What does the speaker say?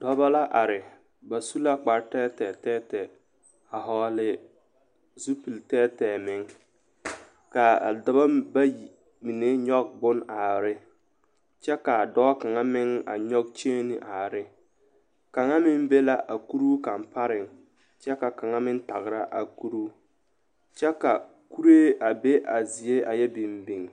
Dɔbɔ la are ba su la kpartɛɛtɛɛ a hɔɔle zupilitɛɛtɛɛ meŋ ka a dɔbɔ bayi mine nyɔɡe bon are ne kyɛ ka a dɔɔ kaŋ meŋ nyɔɡe kyeene meŋ are ne kaŋa meŋ be la a kuruu kaŋ pareŋ kyɛ ka kaŋa meŋ taɡra a kuruu kyɛ ka kuree a be a zie a yɛ biŋbiŋ.